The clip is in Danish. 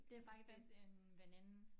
Det faktisk en veninde